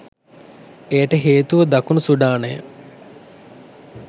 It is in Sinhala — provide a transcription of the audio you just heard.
එයට හේතුව දකුණු සුඩානය